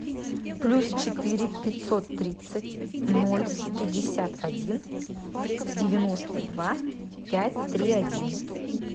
плюс четыре пятьсот тридцать ноль пятьдесят один девяносто два пять три один